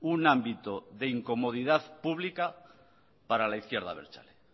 un ámbito de incomodidad pública para la izquierda abertzale